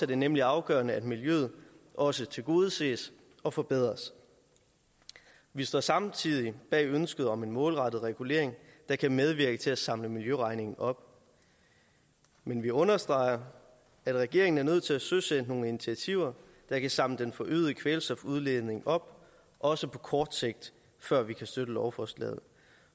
det nemlig afgørende at miljøet også tilgodeses og forbedres vi står samtidig bag ønsket om en målrettet regulering der kan medvirke til at samle miljøregningen op men vi understreger at regeringen er nødt til at søsætte nogle initiativer der kan samle den forøgede kvælstofudledning op også på kort sigt før vi kan støtte lovforslaget